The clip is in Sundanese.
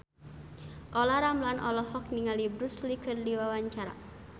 Olla Ramlan olohok ningali Bruce Lee keur diwawancara